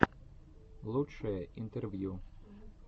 лучшие интервью